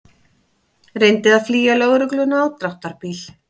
Reyndi að flýja lögregluna á dráttarbíl